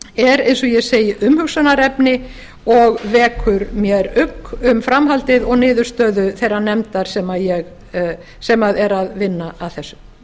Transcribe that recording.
er eins og ég segi umhugsunarefni og vekur mér ugg um framhaldið og niðurstöðu þeirrar nefndar sem er að vinna að þessu